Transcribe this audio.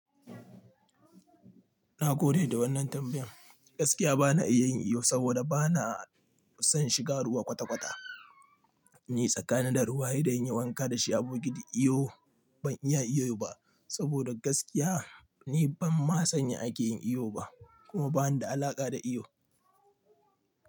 Na gode da wannan tambayan, gaskiya bana iya yin iyo saboda bana son shiga ruwa kwata-kwata. Ni tsakanina da ruwa, he de in yi wanka da shi a bokiti iyo ban iya iyo ba saboda gaskiya ni ban ma san ya ake yin iyo ba kuma bani da alaƙa da iyo.